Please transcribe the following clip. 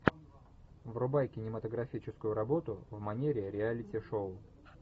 врубай кинематографическую работу в манере реалити шоу